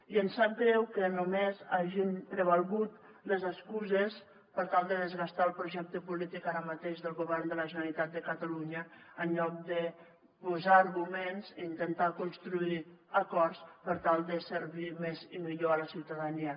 i ens sap greu que només hagin prevalgut les excuses per tal de desgastar el projecte polític ara mateix del govern de la generalitat de catalunya en lloc de posar arguments i intentar construir acords per tal de servir més i millor la ciutadania